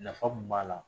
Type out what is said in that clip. Nafa mun b'a la